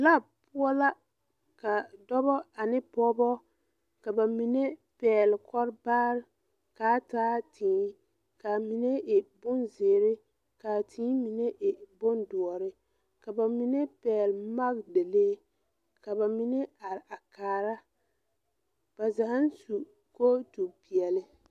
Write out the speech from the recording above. Lap poɔ la ka dɔbɔ ane pogebo ka ba mine pɛgle kɔlbaarre kaa taa tēē kaa mine e bon zeere kaa tēē mine e bondoɔre ka ba mine pɛgle magdalee ka ba mine are a kaara ba zaaŋ su kootu peɛɛli.